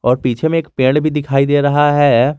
पीछे में एक पेड़ भी दिखाई दे रहा है।